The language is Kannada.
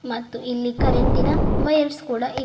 ಮತ್ ಇಲ್ಲಿ ಕರೆಂಟಿನ ವೈಯರ್ಸ್ ಕೂಡ ಇವೆ.